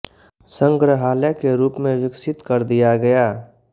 सग्रहालय के रूप में विकसित कर दिया गया